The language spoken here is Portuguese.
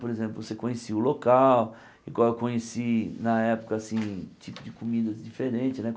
Por exemplo, você conhecia o local, igual eu conheci na época, assim, tipo de comidas diferente, né?